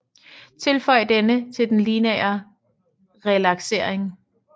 Tilføj denne til den lineære relaksering